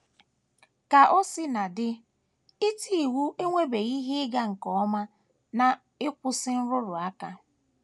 Ka o sina dị, iti iwu enwebeghị ihe ịga nke ọma n’ịkwụsị nrụrụ aka.